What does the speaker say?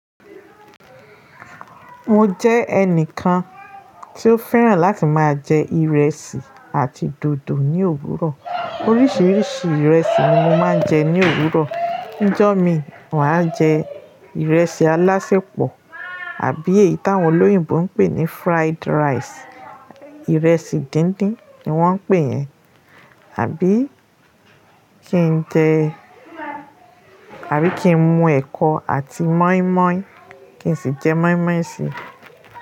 Mo jẹ́ ẹnìkan to fẹ́ràn láti máa jẹ ìrẹsì àti dòdò ní òwúrọ̀. Oríṣiríṣi ìrẹsì ni mo máa ń jẹ ní òwúrọ̀. Nijọ́mi, màá jẹ ìrẹsì alásẹpọ̀ àbí èyí tí àwọn olóyìnbo ń pè ní fried rice, ìrẹsì díndín ni wọ́n ń pè ẹ́, àbí kí n jẹ àbí kí n mu ẹ̀kọ àti mọ́ímọ́í kí n sì jẹ mọ́ímọ́í sì.